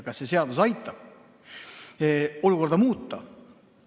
Kas see seadus aitab olukorda muuta?